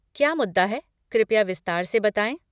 क्या मुद्दा है कृपया विस्तार से बताएँ।